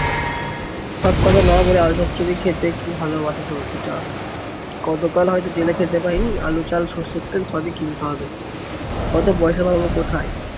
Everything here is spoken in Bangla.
আলু চচ্চড়ি খেতে কি ভালোবাসে সৌখীটা। কত কাল হয়তো জেলে খেতে পায়নি, আলু, চাল, সর্ষের তেল সবই কিনতে হবে। অত পয়সা পাবো কোথায়?